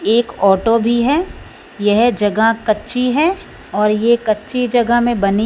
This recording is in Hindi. एक ऑटो भी है यह जगह कच्ची है और ये कच्ची जगह में बनी--